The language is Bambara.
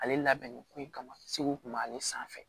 Ale labɛnnen ko in kama segu kun b'ale sanfɛ